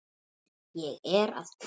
Ég er að koma